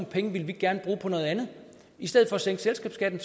penge ville vi gerne bruge på noget andet i stedet for at sænke selskabsskatten